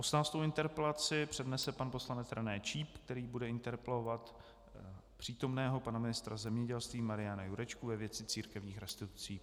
Osmnáctou interpelaci přednese pan poslanec René Číp, který bude interpelovat přítomného pana ministra zemědělství Mariana Jurečku ve věci církevních restitucí.